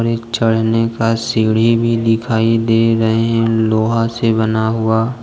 चढ़ने का सीढ़ी भी दिखाई दे रहे हैं लोहा से बना हुआ।